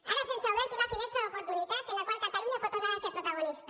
ara se’ns ha obert una finestra d’oportunitats en la qual catalunya pot tornar a ser protagonista